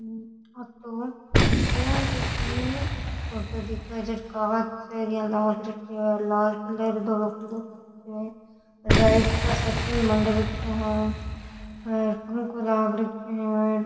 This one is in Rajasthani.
ओ तो बैंक की फोटो दिखे जठ कांच र यान लाग रखिया है लाल कलर धोलो कलर हो रख्यो है राइट को सो चिन्ह मंड रख्यो है और पंखो लाग रख्यो है।